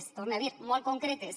ho torne a dir molt concretes